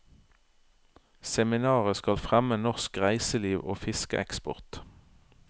Seminaret skal fremme norsk reiseliv og fiskeeksport.